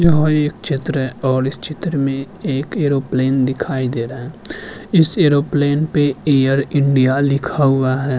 यह एक चित्र है और इस चित्र में एक एयरोप्लेन दिखाई दे रहा है इस एयरोप्लेन पे एयर इंडिया लिखा हुआ है।